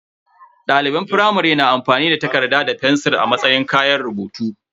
Daliban firamare na amfani da takarda da fensir a matsayin kayan rubutu.